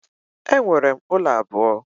Enwere m ụlọ abụọ